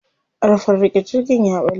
Ƙarfen riƙe jirgin ya ɓalle.